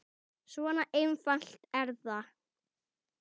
Svona einfalt er það.